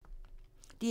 DR2